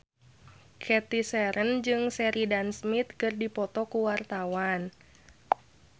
Cathy Sharon jeung Sheridan Smith keur dipoto ku wartawan